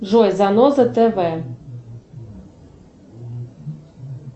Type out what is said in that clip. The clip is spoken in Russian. джой заноза тв